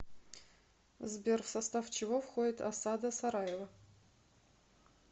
сбер в состав чего входит осада сараева